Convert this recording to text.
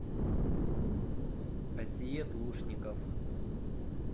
асиет лушников